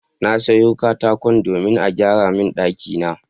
Na sayo katako domin a gyara min ɗakina.